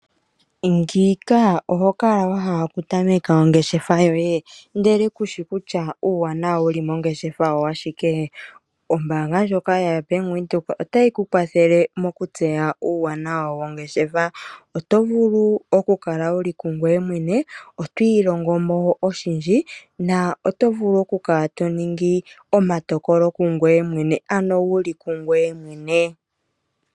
Ngiika oho kala wa hala okutameka ongeshefa yoye, ihe ku shi kutya uuwanawa wu li mongeshefa owa shike? Ombaanga yaBank Windhoek otayi ku kwathele okutseya uuwanawa wongeshefa. Oto vulu okukala wu li kungoye mwene. Oto ilongo mo oshindji noto vulu okukala to ningi omatokolo kungoye mwene, ano wu li kungoye mwene.